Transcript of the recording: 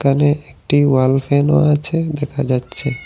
এখানে একটি ওয়াল ফ্যানও আছে দেখা যাচ্ছে।